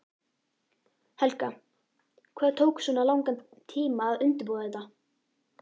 Helga: Hvað tók svona langan tíma að undirbúa þetta?